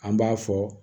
An b'a fɔ